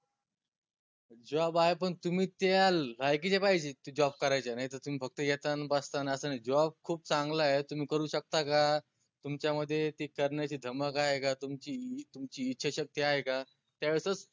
job आहे पन तुम्ही त्या लायकीचे पाहिजे ते job करायच्या नाई त तुम्ही फक्त येता न बसता न अस नाई job खूप चांगलाय तुम्ही करू शकता का? तुमच्यामध्ये ते करन्याची धमक आहे का? तुमची तुमची इच्छाशक्ती आहे का? त्या वेळेसच